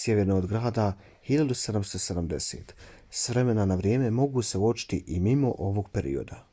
sjeverno od grada 1770. s vremena na vrijeme mogu se uočiti i mimo ovog perioda